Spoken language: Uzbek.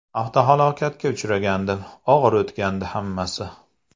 Avtohalokatga uchragandim, og‘ir o‘tgandi hammasi.